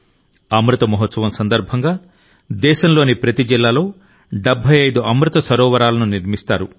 అమృత మహోత్సవం సందర్భంగా దేశంలోని ప్రతి జిల్లాలో 75 అమృత సరోవరాలను నిర్మిస్తారు